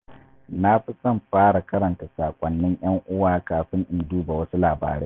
Na fi son fara karanta sakonnin yan'uwa kafin in duba wasu labarai.